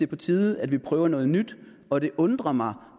på tide at vi prøver noget nyt og det undrer mig